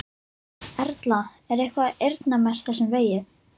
Erla: Er eitthvað eyrnamerkt þessum vegi?